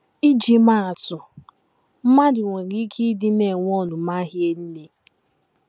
Iji maa atụ: Mmadụ nwere ike ịdị “ na - enwe ọnụma hie nne. ”